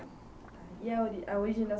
E a origem origem da